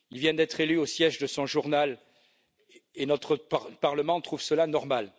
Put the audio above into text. Il vient d'être élu au siège de son journal et notre Parlement trouve cela normal.